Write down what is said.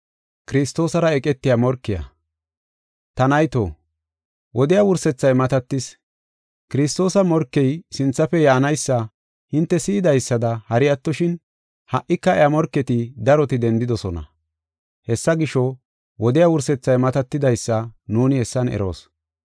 Ta nayto, wodiya wursethay matatis. Kiristoosa morkey sinthafe yaanaysa hinte si7idaysada hari attoshin, ha77ika iya morketi daroti dendidosona. Hessa gisho, wodiya wursethay matatidaysa nuuni hessan eroos.